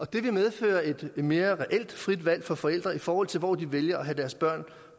det vil medføre et mere reelt frit valg for forældre i forhold til hvor de vælger at have deres børn